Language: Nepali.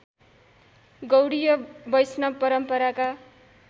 गौडीय वैष्णव परम्पराका